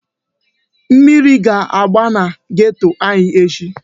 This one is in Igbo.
Mmiri ga-agba na geto anyị echi.